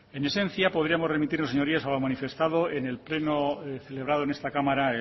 en esencia podríamos remitirnos señorías a lo manifestado en el pleno celebrado en esta cámara